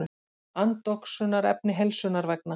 Andoxunarefni heilsunnar vegna.